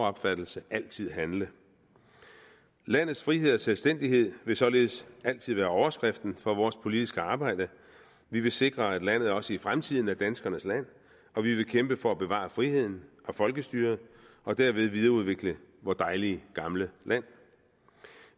opfattelse altid handle landets frihed og selvstændighed vil således altid være overskriften for vores politiske arbejde vi vil sikre at landet også i fremtiden er danskernes land og vi vil kæmpe for at bevare friheden og folkestyret og derved videreudvikle vort dejlige gamle land